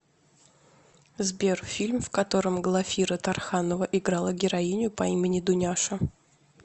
сбер фильм в котором глафира тарханова играла героиню по имени дуняша